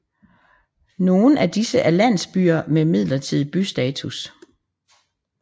Nogen af disse er landsbyer med midlertidig bystatus